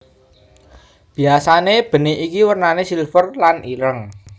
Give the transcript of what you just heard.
Biasane benik iki wernane silver lan ireng